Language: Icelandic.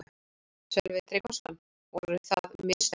Sölvi Tryggvason: Voru það mistök?